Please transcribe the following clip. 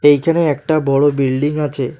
এইখানে একটা বড় বিল্ডিং আছে।